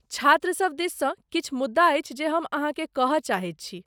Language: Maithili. छात्रसभ दिससँ किछु मुद्दा अछि जे हम अहाँकेँ कहय चाहैत छी।